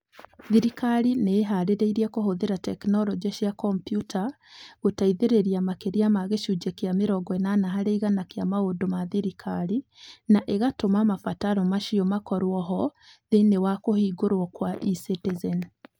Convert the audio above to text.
Thirikari nĩ ĩĩhaarĩirie kũhũthĩra tekinoronjĩ cia kompiuta gũteithĩrĩria makĩria ma gĩcunjĩ kĩa 80 harĩ igana kĩa maũndũ ma thirikari, na ĩgaatũma mabataro macio makorũo ho thĩinĩ wa kĩhũngĩro kĩa E-citizen .